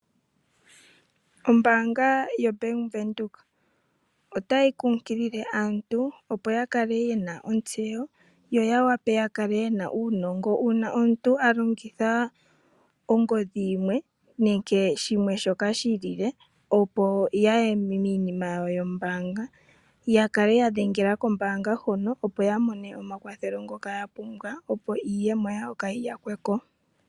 Ombanga ndjoka yoBank Widheok otayi kukilile aantu opo yakale yena otsewo yo yawape yakale yena unongo una omuntu alongitha ongodhi yimwe nenge shimwe shoka shilile opo yaye minima yawo yo mbanga yakale ya dhengela kombanga hoka opo yamone omakwathelo ngoka yapumbwa opo iiyemo yawo kayi yakwe ko.